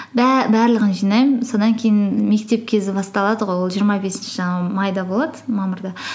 барлығын жинаймын содан кейін мектеп кезі басталады ғой ол жиырма бесінші майда болады мамырда